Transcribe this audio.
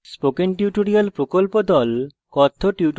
spoken tutorial প্রকল্প the